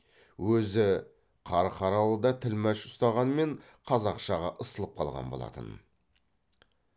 өзі қарқаралыда тілмәш ұстағанмен қазақшаға ысылып қалған болатын